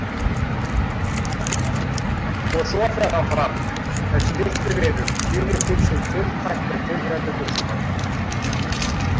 Og svo fer hann fram, þessi litli vinur, tínir til allt tiltækt með tilheyrandi gusugangi.